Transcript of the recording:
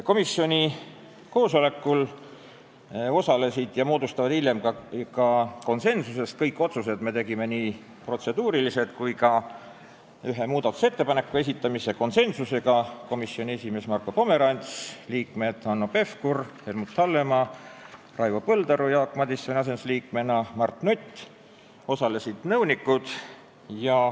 Komisjoni koosolekul osalesid ja jõudsid hiljem ka konsensusele komisjoni esimees Marko Pomerants ning liikmed Hanno Pevkur, Helmut Hallemaa, Raivo Põldaru Jaak Madisoni asendusliikmena ja Mart Nutt.